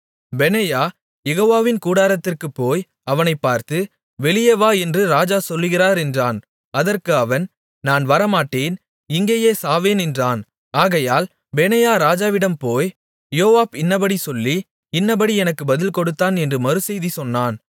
பெனாயா யெகோவாவின் கூடாரத்திற்குப் போய் அவனைப் பார்த்து வெளியே வா என்று ராஜா சொல்லுகிறார் என்றான் அதற்கு அவன் நான் வரமாட்டேன் இங்கேயே சாவேன் என்றான் ஆகையால் பெனாயா ராஜாவிடம் போய் யோவாப் இன்னபடி சொல்லி இன்னபடி எனக்கு பதில் கொடுத்தான் என்று மறுசெய்தி சொன்னான்